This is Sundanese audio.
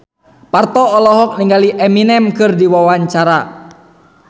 Parto olohok ningali Eminem keur diwawancara